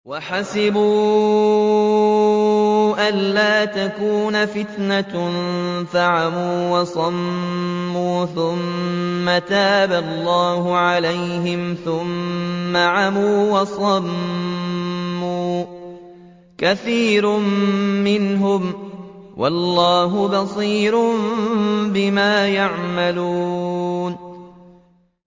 وَحَسِبُوا أَلَّا تَكُونَ فِتْنَةٌ فَعَمُوا وَصَمُّوا ثُمَّ تَابَ اللَّهُ عَلَيْهِمْ ثُمَّ عَمُوا وَصَمُّوا كَثِيرٌ مِّنْهُمْ ۚ وَاللَّهُ بَصِيرٌ بِمَا يَعْمَلُونَ